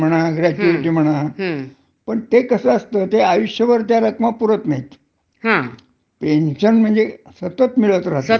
पूर्णपणे मिळत राहत आणि त्या माणसाला तर मिळतच मिळतच त्याच्यानंतर त्याच्या बायकोलासुद्धा निम्म म्हणजे हे बऱ्यापैकी मिळतच.